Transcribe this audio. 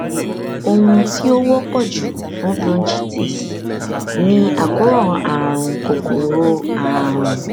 ohun tí ó wọpọ jù fún bronchitis ni àkóràn àrùn kòkòrò àrùn